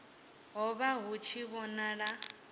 ho vha hu tshi vhonala